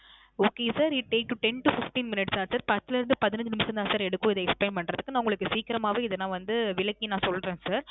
Okay sir. It takes to ten to fifteen minutes sir. பத்துல இருந்து பதினைந்து நிமிஷம் தான் sir எடுக்கும். இதை explain பண்றதுக்கு. நான் உங்களுக்கு சீக்கிரமாவே இது நான் வந்து விளக்கி சொல்றேன் sir.